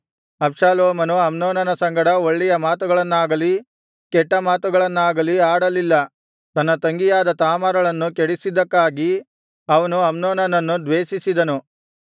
ಅಬ್ಷಾಲೋಮನು ಅಮ್ನೋನನ ಸಂಗಡ ಒಳ್ಳೆಯ ಮಾತುಗಳನ್ನಾಗಲಿ ಕೆಟ್ಟ ಮಾತುಗಳನ್ನಾಗಲಿ ಆಡಲಿಲ್ಲ ತನ್ನ ತಂಗಿಯಾದ ತಾಮಾರಳನ್ನು ಕೆಡಿಸಿದ್ದಕ್ಕಾಗಿ ಅವನು ಅಮ್ನೋನನನ್ನು ದ್ವೇಷಿಸಿದನು